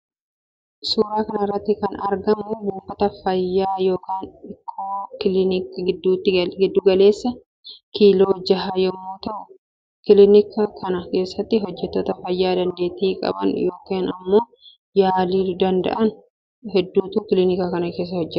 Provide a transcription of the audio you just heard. Suuraa kanarratti kan argamu buufata fayya yookaan ikkoo kiliika gidduutti galeessaa kiiloo jaha yommuu ta'u. Kiliinika kana kessatti hojjettoota fayya dandeetti qaban yookan immoo yaaluu danda'an hedduutu kiliinika kana kessa hojjeta.